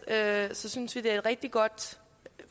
alt synes vi det er et rigtig godt